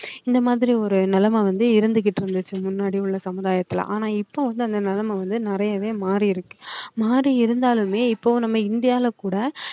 இந்த இந்த மாதிரி ஒரு நிலைமை வந்து இருந்துகிட்டு இருந்துச்சு முன்னாடி உள்ள சமுதாயத்துல ஆனா இப்ப வந்து அந்த நிலைமை வந்து நிறையவே மாறி இருக்கு மாறி இருந்தாலுமே இப்போ நம்ம இந்தியால கூட